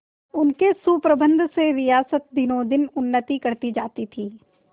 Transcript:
उनके सुप्रबंध से रियासत दिनोंदिन उन्नति करती जाती थी